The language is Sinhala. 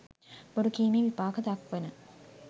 බොරුකීමේ විපාක දක්වන